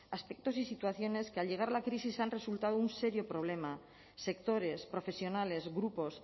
aspectos y situaciones que al llegar la crisis han resultado un serio problema sectores profesionales grupos